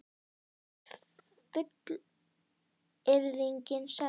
Er fullyrðingin sönn?